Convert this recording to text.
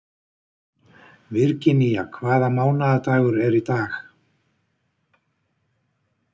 Virginía, hvaða mánaðardagur er í dag?